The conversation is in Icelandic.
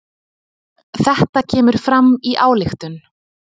Þetta kemur fram í ályktun